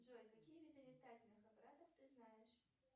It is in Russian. джой какие виды летательных аппаратов ты знаешь